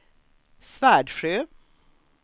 Svärdsjö